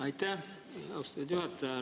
Aitäh, austatud juhataja!